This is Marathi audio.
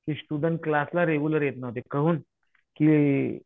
की स्टुडन्ट क्लासला रेग्युलर येत नव्हते. काहुन? की